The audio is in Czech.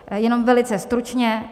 Jenom velice stručně.